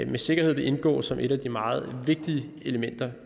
med sikkerhed vil indgå som et af de meget vigtige elementer